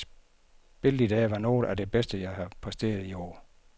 Spillet i dag var noget af det bedste jeg har præsteret i år.